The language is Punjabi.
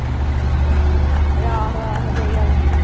ਆਹੋ ਆਹੋ ਸਹੀ ਗੱਲ ਆ।